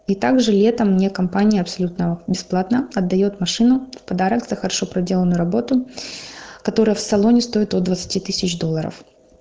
и также летом мне компания абсолютно бесплатно отдаёт машину в подарок за хорошо проделанную работу которая в салоне стоит от двадцати тысяч долларов